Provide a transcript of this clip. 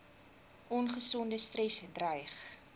ongesonde stres dreig